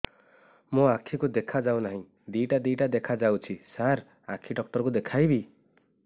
ମୋ ଆଖିକୁ ଦେଖା ଯାଉ ନାହିଁ ଦିଇଟା ଦିଇଟା ଦେଖା ଯାଉଛି ସାର୍ ଆଖି ଡକ୍ଟର କୁ ଦେଖାଇବି